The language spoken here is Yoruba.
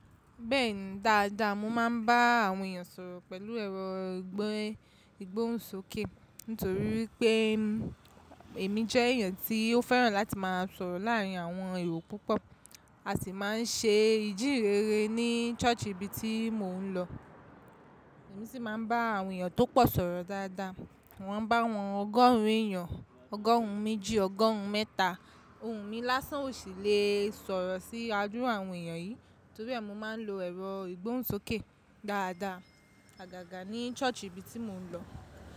Bẹ́ẹ̀ni dáadáa, mo máa ń bá àwọn èèyàn sọ̀rọ̀ pẹ̀lú ẹ̀rọ ìgbóhùnsókè, nítorí pé èmi jẹ́ èèyàn tí ó fẹ́ràn láti máa sọ̀rọ̀ láàárín àwọn èrò púpọ̀. A sì máa ń ṣe ìjírẹrẹ ní ṣọ́ọ̀ṣì ibi tí mò ń lọ. Èmi sì máa ń bá àwọn èèyàn tó pọ̀ sọ̀rọ̀ dáadáa. Wọ́n bá wọn ọgọ́rùn èèyàn, ọgọ́rùn méjì, ọgọ́rùn mẹ́ta. Òun mi lásán ò sì le sọ̀rọ̀ sí adúru àwọn èèyàn yìí, torí ẹ mi máa ń lo ẹ̀rọ ìgbóhùnsókè dáadáa àgàgà ní ṣọ́ọ̀ṣì ibi tí mò ń lọ.